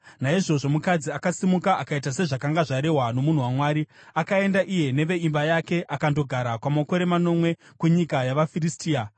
Naizvozvo mukadzi akasimuka akaita sezvakanga zvarehwa nomunhu waMwari. Akaenda iye neveimba yake akandogara kwamakore manomwe kunyika yavaFiristia.